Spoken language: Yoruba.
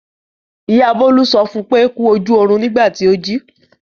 Ìyá Bólú sọ fún pé "kú ojú ọrùn " nígbà tí ó jí.